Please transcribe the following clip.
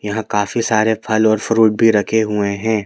यहाँ काफी सारे फल और फ्रूट भी रखे हुए हैं।